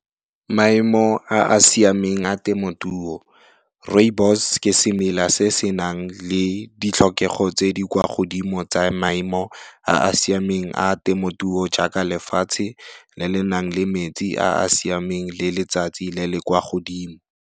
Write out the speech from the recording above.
Maemo a a siameng a temotuo, rooibos ke semela se se nang le ditlhokego tse di kwa godimo tsa maemo a a siameng a temotuo jaaka lefatshe le le nang le metsi a a siameng le letsatsi le le kwa godimo.